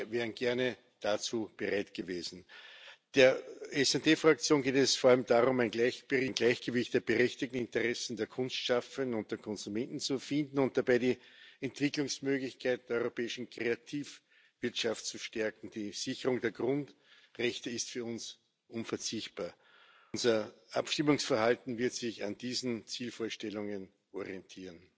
Wir wären gerne dazu bereit gewesen. Der SD Fraktion geht es vor allem darum, ein Gleichgewicht der berechtigten Interessen der Kunstschaffenden und der Konsumenten zu finden und dabei die Entwicklungsmöglichkeit der europäischen Kreativwirtschaft zu stärken. Die Sicherung der Grundrechte ist für uns unverzichtbar. Unser Abstimmungsverhalten wird sich an diesen Zielvorstellungen orientieren.